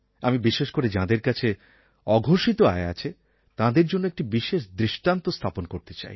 আমি বিশেষ করে যাঁদের কাছে অঘোষিত আয় আছে তাঁদের জন্য একটি বিশেষ দৃষ্টান্ত স্থাপন করতে চাই